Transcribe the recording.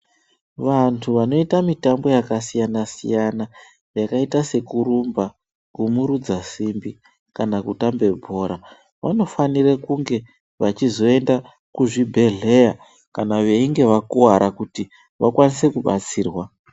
Vantu vanoita mitambo yakasiyana-siyana, yakaita sekurumba ,kumurudza simbi, kana kutambe bhora, vanofanire kunge vachizoenda kuzvibhedhleya ,kana veinge vakuwara kuti vakwanise kubatsirwa.